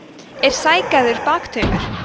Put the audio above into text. er sægarður baktaumur